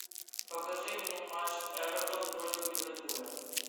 покажи мне матч эвертон против ливерпуля